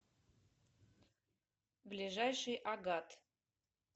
ближайший агат